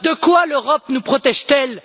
De quoi l'Europe nous protège t elle?